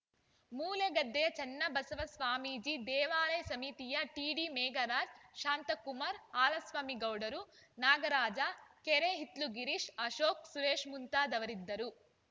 ಮೂಲೆಗದ್ದೆಯ ಚನ್ನಬಸವ ಸ್ವಾಮೀಜಿ ದೇವಾಲಯ ಸಮಿತಿಯ ಟಿಡಿಮೇಘರಾಜ್‌ ಶಾಂತಕುಮಾರ್‌ ಹಾಲಸ್ವಾಮಿ ಗೌಡ್ರು ನಾಗರಾಜ ಕೆರೆಹಿತ್ಲುಗಿರೀಶ್‌ ಅಶೋಕ್‌ ಸುರೇಶ್‌ ಮುಂತಾದವರಿದ್ದರು